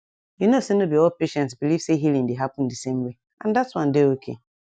you know say no be all patients believe say healing dey happen the same way and that one dey okay